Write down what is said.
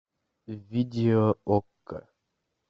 видео окко